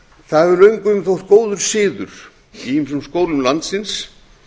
það hefur löngum þótt góður siður í ýmsum skólum landsins